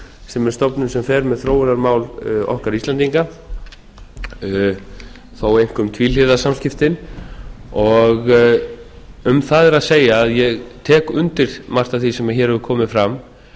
sem er stofnun sem fer með þróunarmál okkar íslendinga þó einkum tvíhliða samskiptin um það er að segja að ég tek undir margt af því sem hér hefur komið fram